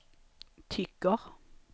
tycker